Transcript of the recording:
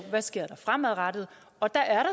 der sker fremadrettet og der er